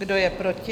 Kdo je proti?